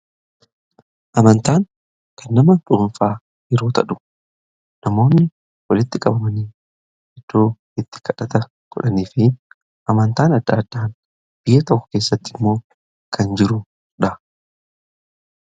Amantaan kan nama dhuunfaa yeroo ta'u namoonni waliitti qabamanii iddoo itti kadhata godhanii fi amantaan adda addaa biyya tokko keessatti immoo kan jirudha.